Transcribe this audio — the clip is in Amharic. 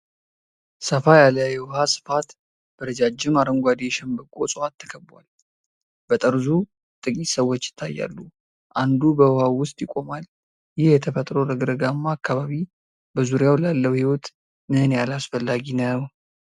ሰፋ ያለ የውሃ ስፋት በረጃጅም አረንጓዴ የሸንበቆ እጽዋት ተከቧል። በጠርዙ ጥቂት ሰዎች ይታያሉ፣ አንዱ በውሃው ውስጥ ይቆማል። ይህ የተፈጥሮ ረግረጋማ አካባቢ በዙሪያው ላለው ሕይወት ምን ያህል አስፈላጊ ነው?